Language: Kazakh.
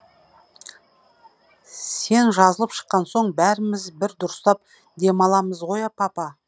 сен жазылып шыққан соң бәріміз бір дұрыстап демаламыз ғой а папа